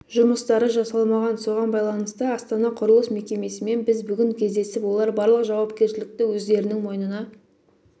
жұмыстары жасалмаған соған байланысты астана құрылыс мекемесімен біз бүгін кездесіп олар барлық жауапкершілікті өздерінің мойнына